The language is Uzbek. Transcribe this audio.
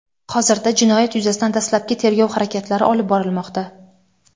Hozirda jinoyat yuzasidan dastlabki tergov harakatlari olib borilmoqda.